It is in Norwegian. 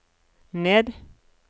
ned